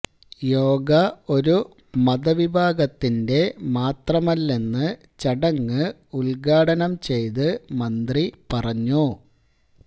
യോഗ ഒരു മത വിഭാഗത്തിന്റെ മാത്രമല്ലെന്ന് ചടങ്ങ് ഉദ്ഘാടനം ചെയ്ത് മന്ത്രി പറഞ്ഞു